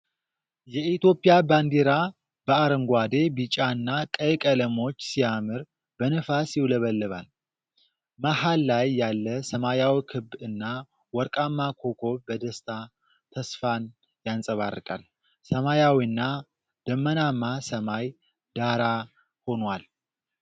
የኢትዮጵያ ባንዲራ በአረንጓዴ፣ ቢጫና ቀይ ቀለሞች ሲያምር በነፋስ ይውለበለባል። መሃል ላይ ያለ ሰማያዊ ክብ እና ወርቃማ ኮከብ በደስታ ተስፋን ያንጸባርቃል፣ ሰማያዊና ደመናማ ሰማይ ዳራ ሆኗል።